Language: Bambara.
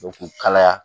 Dɔnku kalaya